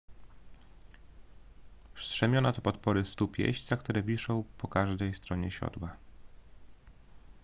strzemiona to podpory stóp jeźdźca które wiszą po każdej stronie siodła